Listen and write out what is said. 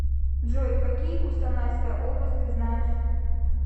джой какие кустанайская область ты знаешь